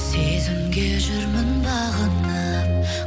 сезімге жүрмін бағынып